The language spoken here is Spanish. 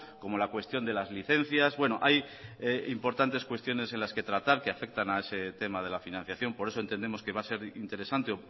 como la cuestión de las licencias bueno hay importantes cuestiones en las que tratar que afectan a ese tema de la financiación por eso entendemos que va a ser interesante